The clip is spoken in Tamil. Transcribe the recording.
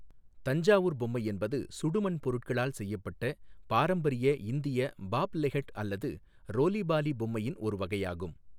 தஞ்சாவூர் பொம்மை என்பது சுடுமண் பொருட்களால் செய்யப்பட்ட பாரம்பரிய இந்திய பாப்லெஹெட் அல்லது ரோலி பாலி பொம்மையின் ஒரு வகையாகும்.